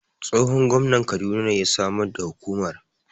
Tsohon Gwamnan kaduna ne ya Samar da Hukumar